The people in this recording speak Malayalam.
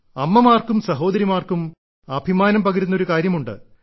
അമ്മമാർക്കും സഹോദരിമാർക്കും അഭിമാനം പകരുന്ന ഒരു കാര്യമുണ്ട്